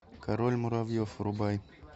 король муравьев врубай